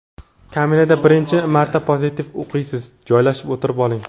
Kaminadan birinchi marta pozitiv o‘qiysiz, joylashib o‘tirib oling.